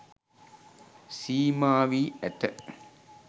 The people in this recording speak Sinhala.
සීමා වී ඇත.